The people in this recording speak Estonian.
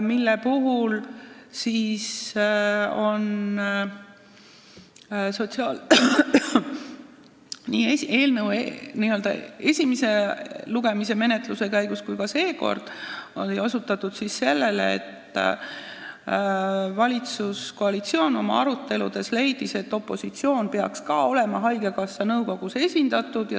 Selle peale osutati nii esimese lugemise käigus kui ka seekord, et valitsuskoalitsioon leidis oma aruteludes, et opositsioon peaks ka olema haigekassa nõukogus esindatud.